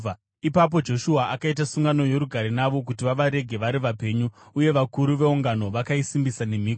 Ipapo Joshua akaita sungano yorugare navo kuti vavarege vari vapenyu, uye vakuru veungano vakaisimbisa nemhiko.